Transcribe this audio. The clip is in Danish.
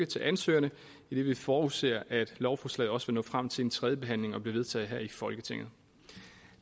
til ansøgerne idet vi forudser at lovforslaget også vil nå frem til en tredjebehandling og blive vedtaget her i folketinget